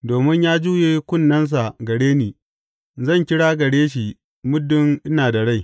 Domin ya juye kunnensa gare ni, zan kira gare shi muddin ina da rai.